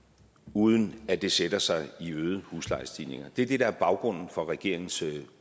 uden at det sætter sig i øgede huslejestigninger det er det der er baggrunden for regeringens